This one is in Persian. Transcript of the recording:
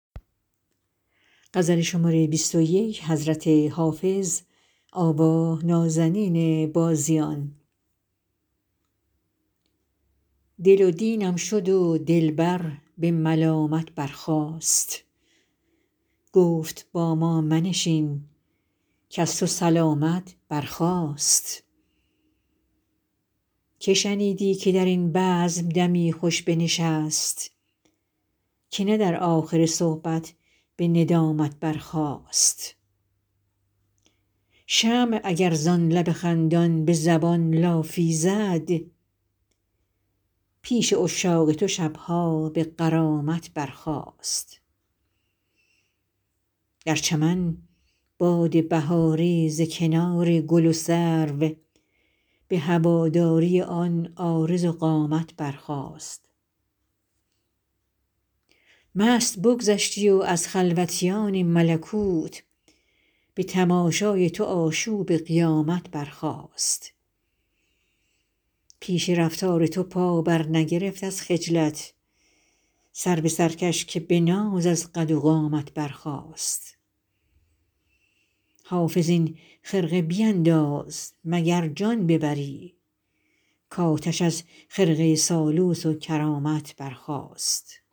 دل و دینم شد و دلبر به ملامت برخاست گفت با ما منشین کز تو سلامت برخاست که شنیدی که در این بزم دمی خوش بنشست که نه در آخر صحبت به ندامت برخاست شمع اگر زان لب خندان به زبان لافی زد پیش عشاق تو شب ها به غرامت برخاست در چمن باد بهاری ز کنار گل و سرو به هواداری آن عارض و قامت برخاست مست بگذشتی و از خلوتیان ملکوت به تماشای تو آشوب قیامت برخاست پیش رفتار تو پا برنگرفت از خجلت سرو سرکش که به ناز از قد و قامت برخاست حافظ این خرقه بینداز مگر جان ببری کآتش از خرقه سالوس و کرامت برخاست